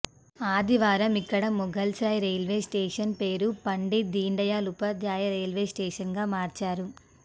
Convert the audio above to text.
ఆదివారం ఇక్కడ మొగల్సరాయ్ రైల్వేస్టేషన్ పేరు పండిట్ దీన్దయాళ్ ఉపాధ్యాయ రైల్వేస్టేషన్గా మార్చారు